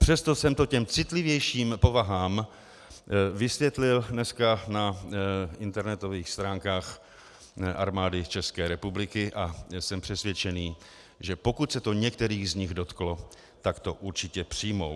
Přesto jsem to těm citlivějším povahám vysvětlil dneska na internetových stránkách Armády České republiky a jsem přesvědčený, že pokud se to některých z nich dotklo, tak to určitě přijmou.